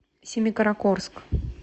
семикаракорск